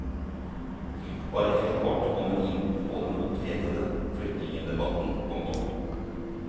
Bare helt kort kom hun inn på den opphetede flyktningedebatten. punktum